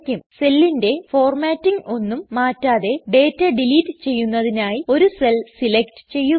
സെല്ലിൻറെ formatting ഒന്നും മാറ്റാതെ data delete ചെയ്യുന്നതിനായി ഒരു സെൽ സെലക്ട് ചെയ്യുക